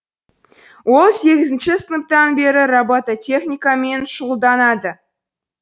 ол сегізінші сыныптан бері робототехникамен шұғылданады